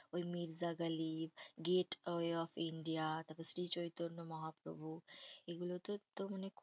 ওই Mirza Ghalib, gateway of India, তারপর শ্রী চৈতন্য মহাপ্রভু এগুলোতে তো মানে